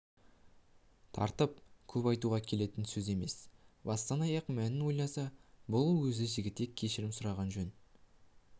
таратып көп айтуға келетін сөз емес бастан-аяқ мәнін ойласа бұл өзі жігітектен кешірім сұраған сөз